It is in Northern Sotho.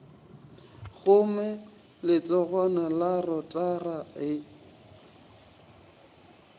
kgome letsogwana la rotara ge